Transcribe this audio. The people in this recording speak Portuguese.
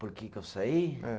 Por que que eu saí? É